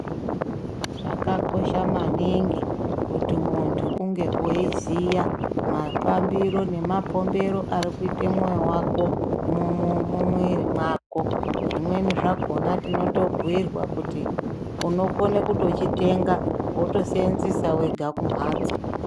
Zvakakosha maningi kuti mundu unge uri weyiziya mafambiro nemapombero arikuite mwoyo wako mumuwiri wako zvimweni zvakona tinotobhuyirwa kuti unokone kuchitenga wotochiseenzesa wega kumhatso.